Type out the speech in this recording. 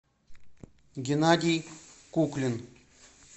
геннадий куклин